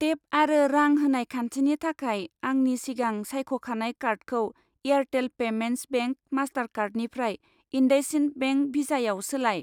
Tape आरो रां होनाय खान्थिनि थाखाय आंनि सिगां सायख'खानाय कार्डखौ एयारटेल पेमेन्टस बेंक मास्टारकार्डनिफ्राय इन्डासइन्ड बेंक भिसायाव सोलाय।